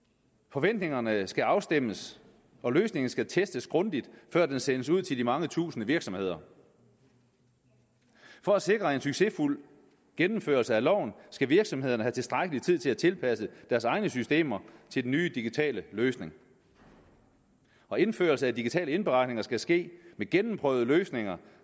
forventningerne skal afstemmes og løsningen skal testes grundigt før den sendes ud til de mange tusinde virksomheder for at sikre en succesfuld gennemførelse af loven skal virksomhederne have tilstrækkelig tid til at tilpasse deres egne systemer til den nye digitale løsning og indførelse af digitale indberetninger skal ske ved gennemprøvede løsninger